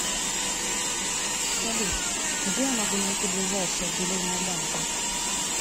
салют где я могу найти ближайшее отделение банка